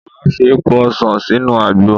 Màá fi èpo ọsàn sínú àgbo.